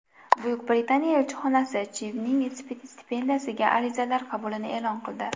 Buyuk Britaniya elchixonasi Chivning stipendiyasiga arizalar qabulini e’lon qildi.